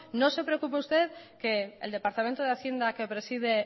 no se preocupe usted que el departamento de hacienda que preside el